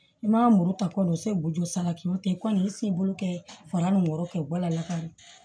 I ma muru ta kɔni o se boto sanna kilo ten i kɔni ye sen bolo kɛ fanga ni wɔɔrɔ kɛ wala